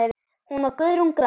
Hún var Guðrún Grand.